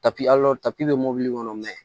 bɛ mobili kɔnɔ mɛ